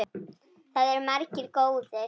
Það eru margir góðir.